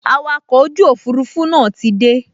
Awakọ̀ ojú òfurufú náà ti dé